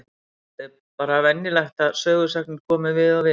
Þetta er bara venjulegt að sögusagnir komi við og við.